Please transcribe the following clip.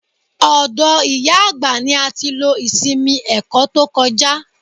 Ọ̀dọ̀ ìyá àgbà ní a ti lo ìsinmi ẹ̀kọ́ tó kọjá.